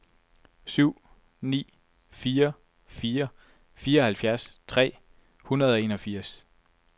syv ni fire fire fireoghalvfjerds tre hundrede og enogfirs